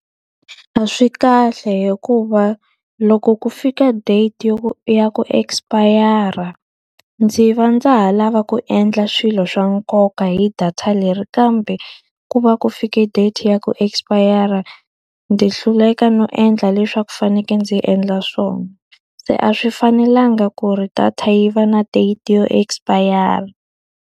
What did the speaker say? A swi kahle hikuva loko ku fika date yo ku ya ku expire-ra, ndzi va ndza ha lava ku endla swilo swa nkoka hi data leri kambe ku va ku fike date ya ku expire-ra. Ndzi hluleka no endla leswi a ku fanekele ndzi endla swona. Se a swi fanelanga ku ri data yi va na date yo expire-ra.